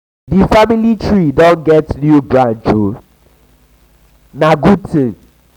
di family tree don get new branch o na branch o na good tin.